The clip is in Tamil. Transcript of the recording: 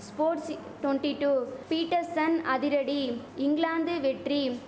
ஸ்போட்சி டொண்டி டூ பீட்டர்சன் அதிரடி இங்கிலாந்து வெற்றி